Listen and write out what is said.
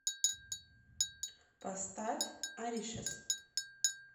поставь оришас